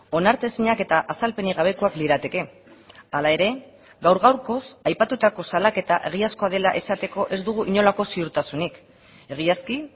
onartezinak eta azalpenik gabekoak lirateke hala ere gaur gaurkoz aipatutako salaketa egiazkoa dela esateko ez dugu inolako ziurtasunik egiazki